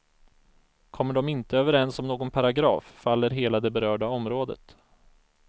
Kommer de inte överens om någon paragraf, faller hela det berörda området.